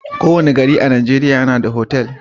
Ko wane gari a nigeria yAna da otal